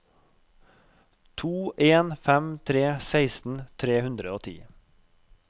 to en fem tre seksten tre hundre og ti